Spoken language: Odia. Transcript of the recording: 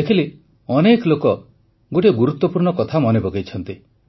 ଦେଖିଲି ଅନେକ ଲୋକ ଗୋଟିଏ ଗୁରୁତ୍ୱପୂର୍ଣ୍ଣ କଥା ମନେ ପକାଇଛନ୍ତି